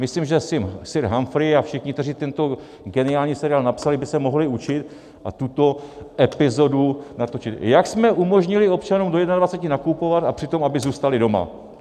Myslím, že sir Humphrey a všichni, kteří tento geniální seriál napsali, by se mohli učit a tuto epizodu natočit - jak jsme umožnili občanům do 21 nakupovat, a přitom aby zůstali doma!